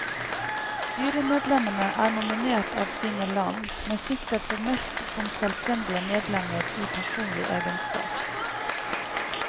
Styremedlemmene er nominert av sine land, men sitter formelt som selvstendige medlemmer i personlig egenskap.